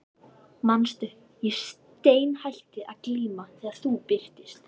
Manstu, ég steinhætti að glíma þegar þú birtist.